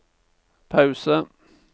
pause